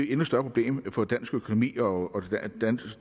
endnu større problem for dansk økonomi og